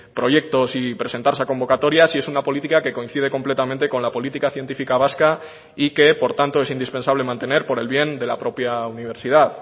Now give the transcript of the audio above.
proyectos y presentarse a convocatorias y es una política que coincide completamente con la política científica vasca y que por tanto es indispensable mantener por el bien de la propia universidad